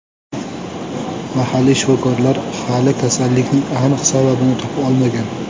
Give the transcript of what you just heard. Mahalliy shifokorlar hali kasallikning aniq sababini topa olmagan.